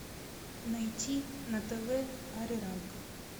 найти на тв ариранг